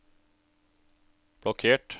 blokkert